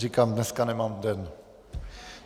Říkám, dneska nemám den.